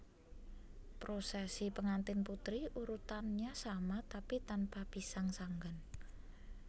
Prosesi pengantin putri urutannya sama tapi tanpa pisang sanggan